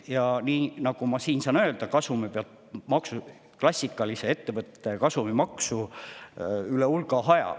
Ja nii nagu ma siin saan öelda, üle hulga aja võetakse ka kasumi pealt maksu, klassikalist ettevõtte kasumimaksu.